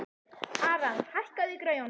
Aran, hækkaðu í græjunum.